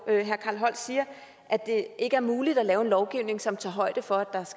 carl holst siger at det ikke er muligt at lave en lovgivning som tager højde for